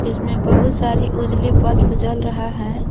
इसमें बहुत सारी उजली बल्फ जल रहा है।